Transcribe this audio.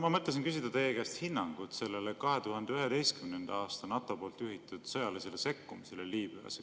Ma mõtlesin küsida teie hinnangut 2011. aastal NATO juhitud sõjalisele sekkumisele Liibüas.